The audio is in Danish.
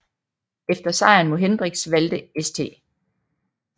Efter sejren mod Hendricks valgte St